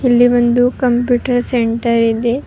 ಇಲ್ಲಿ ಒಂದು computer centre ಇದೆ.